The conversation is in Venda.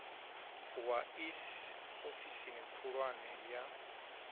wa iss ofisini khulwane ya